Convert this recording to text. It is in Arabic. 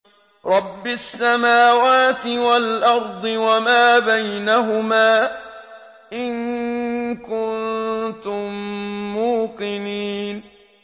رَبِّ السَّمَاوَاتِ وَالْأَرْضِ وَمَا بَيْنَهُمَا ۖ إِن كُنتُم مُّوقِنِينَ